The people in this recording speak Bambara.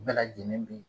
Bɛɛ lajɛlen bɛ